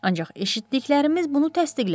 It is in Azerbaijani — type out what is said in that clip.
Ancaq eşitdiklərimiz bunu təsdiqləmir.